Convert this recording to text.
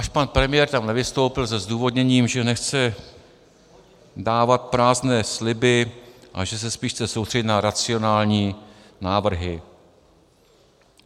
Náš pan premiér tam nevystoupil se zdůvodněním, že nechce dávat prázdné sliby a že se spíš chce soustředit na racionální návrhy.